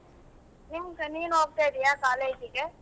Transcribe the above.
ಎಂತ ನೀನ್ ಹೋಗ್ತಾ ಇದೀಯಾ college ಗೆ.